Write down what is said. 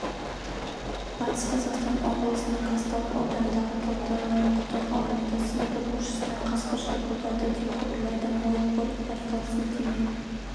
батыс қазақстан облысының қазталов ауданындағы талдықұдық ауылында сынып оқушысына қасқыр шабуылдады деп хабарлайды мой городпорталына сілтеме